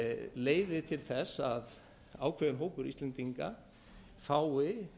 leiði til þess að ákveðinn hópur íslendinga fái